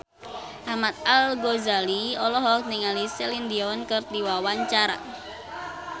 Ahmad Al-Ghazali olohok ningali Celine Dion keur diwawancara